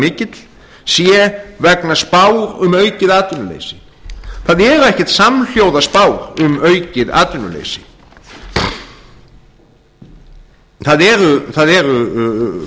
mikill sé vegna spár um aukið atvinnuleysi það eru ekkert samhljóða spár um aukið atvinnuleysi það er